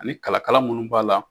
Ani kalakala minnu b'a la